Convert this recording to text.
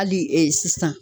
Hali sisan